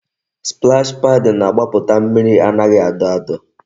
Splash paad na-agbaputa mmiri anaghị adọ adọ